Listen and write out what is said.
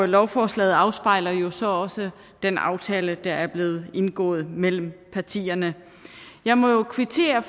lovforslaget afspejler jo så også den aftale der er blevet indgået mellem partierne jeg må jo kvittere